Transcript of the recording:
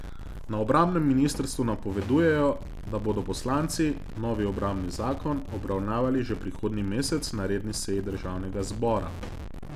Na obrambnem ministrstvu napovedujejo, da bodo poslanci novi obrambni zakon obravnavali že prihodnji mesec na redni seji državnega zbora.